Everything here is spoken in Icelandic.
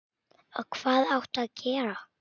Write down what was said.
Og hvað áttu að gera?